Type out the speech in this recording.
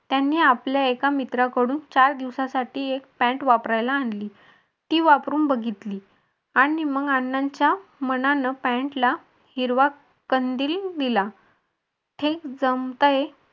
त्यांनी आपल्या एका मित्राकडून चार दिवसासाठी एक पॅंट वापरायला आणली ती वापरून बघितली आणि मग अण्णांच्या मनाला पॅंटला हिरवा कंदील दिला. हे जमतंय